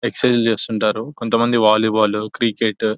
excise చేస్తుంటారు కొంతమంది volleyball cricket --